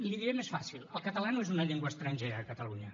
l’hi diré més fàcil el castellà no és una llengua estrangera a catalunya